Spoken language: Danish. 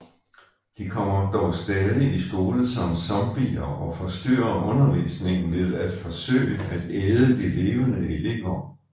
De kommer dog stadig i skole som zombier og forstyrrer undervisningen ved at forsøge at æde de levende elever